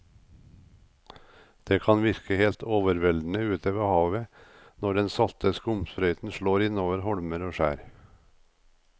Det kan virke helt overveldende ute ved havet når den salte skumsprøyten slår innover holmer og skjær.